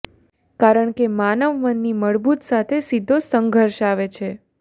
કારણ કે માનવ મનની મૂળભૂત સાથે સીધો સંઘર્ષ આવે છે